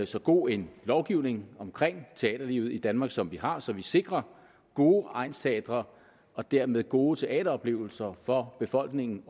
så god en lovgivning omkring teaterlivet i danmark som vi har så vi sikrer gode egnsteatre og dermed gode teateroplevelser for befolkningen